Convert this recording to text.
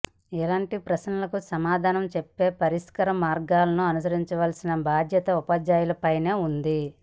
ఇలాంటి ప్రశ్నలకు సమాధానాలు చెప్పి పరిష్కార మార్గాలను అనుసరించాల్సిన బాధ్యత ఉపాధ్యాయుల పైనే వుంది